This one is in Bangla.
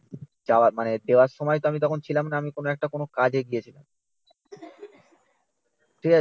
চাওয়া মানে দেওয়ার সময় তো আমি ছিলাম না আমি কোনো একটা কোনো কাজে গিয়েছিলাম। ঠিক আছে?